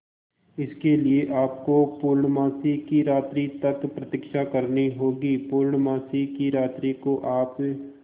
इसके लिए आपको पूर्णमासी की रात्रि तक प्रतीक्षा करनी होगी पूर्णमासी की रात्रि को आप